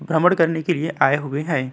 भ्रमण करने के लिए आए हुए हैं।